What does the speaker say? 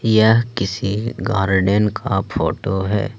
यह किसी गार्डन का फोटो है।